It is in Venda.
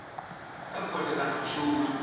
kha khothe kana a shuma